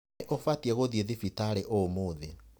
Nĩ ũbatiĩ gũthiĩ thibitarĩ ũmũthĩ.